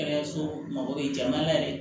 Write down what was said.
Kɛnɛyaso mago bɛ jamana yɛrɛ